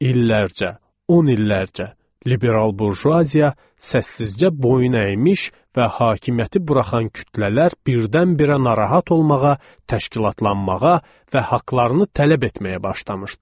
İllərcə, 10 illərcə liberal burjuaziya səssizcə boyun əymiş və hakimiyyəti buraxan kütlələr birdən-birə narahat olmağa, təşkilatlanmağa və haqlarını tələb etməyə başlamışdılar.